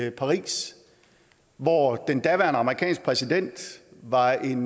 i paris hvor den daværende amerikanske præsident var en